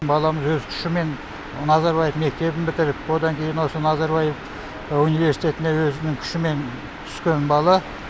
баламыз өз күшімен назарбаев мектебін бітіріп одан кейін осы назарбаев университетіне өзінің күшімен түскен бала